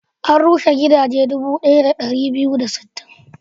An rushe gidaje dubu ɗaya da ɗari biyu da sittin.